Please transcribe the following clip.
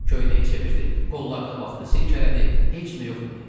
Köynəyi çevirdi, qollarına baxdı, silkələdi, heç nə yox idi.